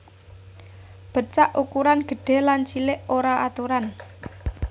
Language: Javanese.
Bercak ukuran gedhé lan cilik ora aturan